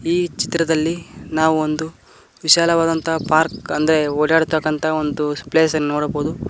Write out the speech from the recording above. ಈ ಚಿತ್ರದಲ್ಲಿ ನಾವು ಒಂದು ವಿಶಾಲವಾದಂತ ಪಾರ್ಕ್ ಅಂದ್ರೆ ಓಡಾಡ್ತಕ್ಕಂತ ಒಂದು ಪ್ಲೇಸ್ ಅನ್ನು ನೋಡಬಹುದು.